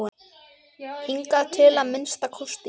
Hingað til að minnsta kosti.